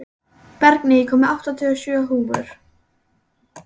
Bergný, ég kom með áttatíu og sjö húfur!